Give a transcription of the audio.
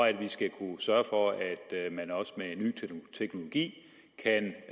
at vi skal kunne sørge for at man også med en ny teknologi kan